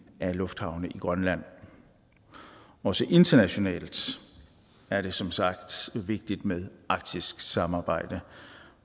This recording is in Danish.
af lufthavne i grønland også internationalt er det som sagt vigtigt med arktisk samarbejde